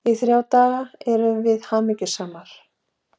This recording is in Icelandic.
Í þrjá daga erum við hamingjusamar.